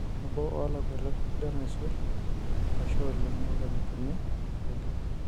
Nabo oo Lakwetak sidani aisul, ashe oleng, neponiki Kipichoge.